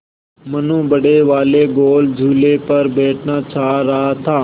मनु बड़े वाले गोल झूले पर बैठना चाह रहा था